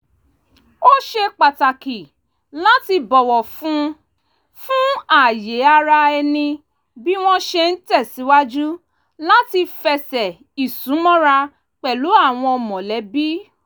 ó ṣe pàtàkì láti bọ̀wọ̀ fún fún ààye ara ẹni bí wọ́n ṣe ń tẹ̀sìwájú láti fẹsẹ̀ ìsúmọ́ra pẹ̀lú àwọn mọ̀lẹ́bí